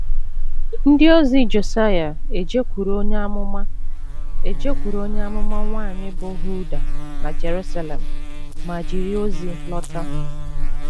Ndị ozi Josaịa ejekwuru onye amụma ejekwuru onye amụma nwanyị bụ́ Hulda na Jerusalem ma jiri ozi lọta.